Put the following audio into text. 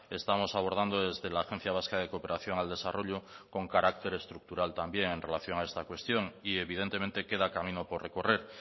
estamos abordando desde la agencia vasca de cooperación al desarrollo con carácter estructural también en relación a esta cuestión y evidentemente queda camino por recorrer